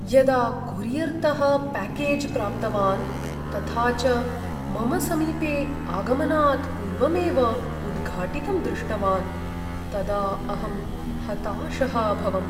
यदा कोरियर्तः प्याकेज् प्राप्तवान्, तथा च मम समीपे आगमनात् पूर्वमेव उद्घाटितं दृष्टवान्, तदा अहं हताशः अभवम्।